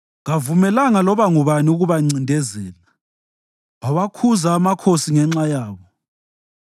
Kavumelanga loba ngubani ukubancindezela; wawakhuza amakhosi ngenxa yabo: